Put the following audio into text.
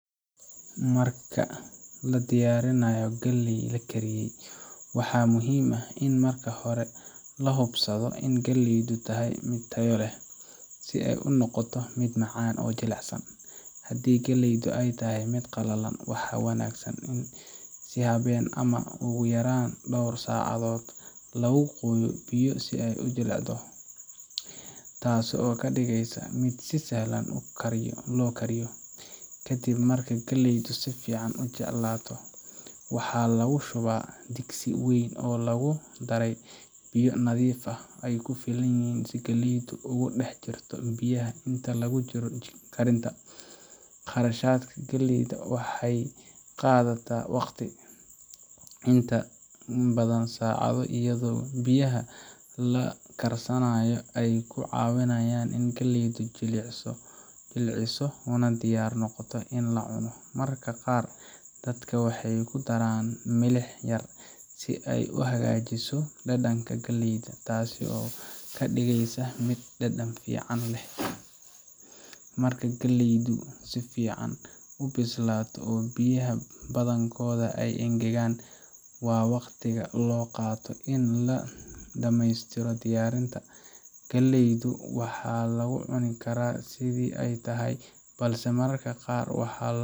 Marka la diyaarinayo galley la kariyey, waxaa muhiim ah in marka hore la hubsado in galleydu tahay mid tayo leh, si ay u noqoto mid macaan oo jilicsan. Haddii galleydu ay tahay mid qalalan, waxaa wanaagsan in habeen ama ugu yaraan dhowr saacadood lagu qooyo biyo si ay u jilicdo, taasoo ka dhigaysa mid si sahlan loo kariyo. Kadib marka galleydu si fiican u jilcato, waxaa lagu shubaa digsi weyn oo lagu daray biyo nadiif ah oo ku filan si galleydu ugu dhex jirto biyaha inta lagu jiro karinta. Karsashada galleyda waxay qaadataa waqti, inta badan saacado, iyadoo biyaha la karsanayo ay ku caawinayaan in galleydu jilciso una diyaar noqoto in la cuno. Mararka qaar, dadka waxay ku daraan milix yar si ay u hagaajiso dhadhanka galleyda, taas oo ka dhigaysa mid dhadhan fiican leh. Marka galleydu si fiican u bislaato oo biyihii badankood ay engegaan, waa waqtiga loo qaato in la dhameystiro diyaarinta. Galleyda waxaa lagu cuni karaa sidii ay tahay, balse mararka qaar waxaa.